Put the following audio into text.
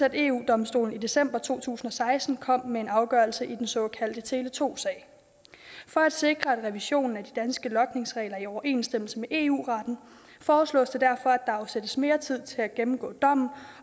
at eu domstolen i december to tusind og seksten kom med en afgørelse i den såkaldte tele2 sag for at sikre at revisionen af de danske logningsregler er i overensstemmelse med eu retten foreslås det derfor at der afsættes mere tid til at gennemgå dommen